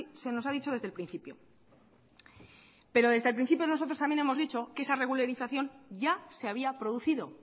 se nos ha dicho desde el principio pero desde el principio nosotros también hemos dicho que esa regularización ya se había producido